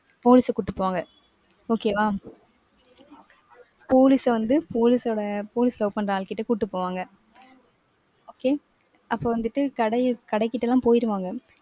police அ கூட்டிட்டு போவாங்க. okay வா. police அ வந்து police ஓட police ல உட்காந்த ஆள்கிட்ட கூட்டிட்டு போவாங்க. okay அப்ப வந்துட்டு கடைய கடைக்கிட்டலாம் போயிடுவாங்க.